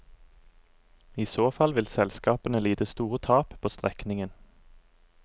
I så fall vil selskapene lide store tap på strekningen.